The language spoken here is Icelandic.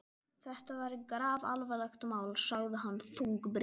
Þetta er grafalvarlegt mál sagði hann þungbrýnn.